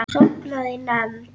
Sofnaði í nefnd.